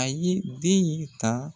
A ye den in ta